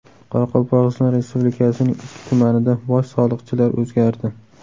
Qoraqalpog‘iston Respublikasining ikki tumanida bosh soliqchilar o‘zgardi.